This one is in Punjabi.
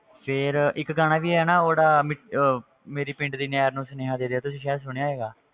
ਫਿਰ ਇੱਕ ਗਾਣਾ ਵੀ ਆਇਆ ਨਾ ਉਹ ਜਿਹੜਾ ਮੇ~ ਅਹ ਮੇਰੇ ਪਿੰਡ ਦੀ ਨਹਿਰ ਨੂੰ ਸੁਨੇਹਾਂ ਦੇ ਦਿਓ, ਤੂੰ ਸ਼ਾਇਦ ਸੁਣਿਆ ਹੋਏਗਾ,